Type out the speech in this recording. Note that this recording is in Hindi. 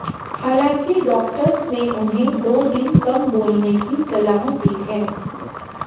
हालांकि डॉक्टर्स ने उन्हें दो दिन कम बोलने की सलाह दी है